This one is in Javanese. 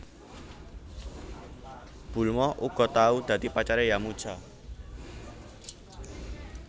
Bulma uga tau dadi pacare Yamucha